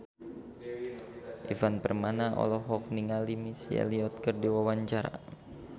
Ivan Permana olohok ningali Missy Elliott keur diwawancara